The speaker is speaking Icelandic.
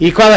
í hvaða